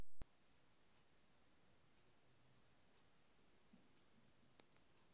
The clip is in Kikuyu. Ngũkũ no irĩithio i cia mbiacara.